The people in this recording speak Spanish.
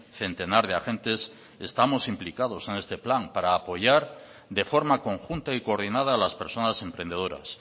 centenar de agentes estamos implicados en este plan para apoyar de forma conjunta y coordinada a las personas emprendedoras